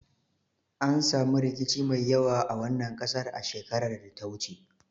An samu rikici mai yawa a wannan kasar a shekarar da ta wuce